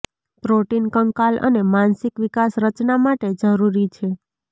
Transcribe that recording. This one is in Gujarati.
પ્રોટીન કંકાલ અને માનસિક વિકાસ રચના માટે જરૂરી છે